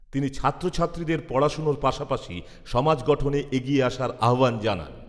তিনি ছাত্রছাত্রীদের পড়াশোনার পাশাপাশি সমাজ গঠনে এগিয়ে আসার আহ্বান জানান।